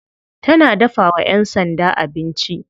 Tana dafawa yan sanda abinci.